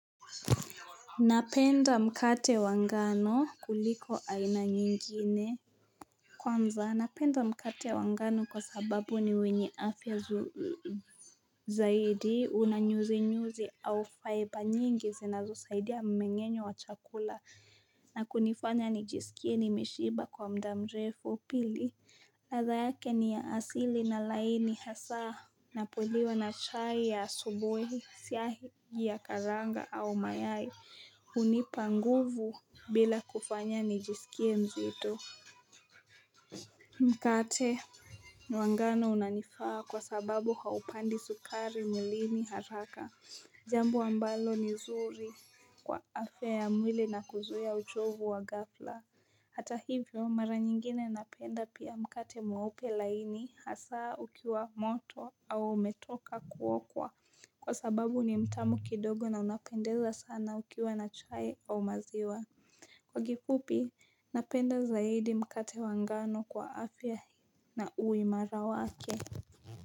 Napenda mkate wangano kuliko aina nyingine Kwanza napenda mkate wangano kwa sababu ni wenye afya nzuri Zaidi unanyuzi nyuzi au faiba nyingi zinazo saidia mmengenyo wa chakula na kunifanya nijisikie nimeshiba kwa mda mrefu pili ladha yake ni ya asili na laini hasaa Napoliwa na chai ya asubuhi siagi ya karanga au mayai unipa nguvu bila kufanya nijisikie mzito Mkate ni wangano unanifaa kwa sababu haupandi sukari mwilini haraka Jambo ambalo ni zuri kwa afuaya mwili na kuzuia uchovu wa ghafla Hata hivyo mara nyingine napenda pia mkate mweupe laini hasaa ukiwa moto au umetoka kuokwa Kwa sababu ni mtamu kidogo na unapendeza sana ukiwa na chai au maziwa Kwa kifupi, napenda zaidi mkate wangano kwa afya na uimarawake.